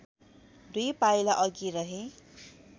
दुई पाइला अघि रहे